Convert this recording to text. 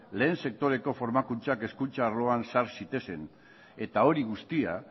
lehen sektoreko formakuntza hezkuntza arloan sar zitezen eta hori guztia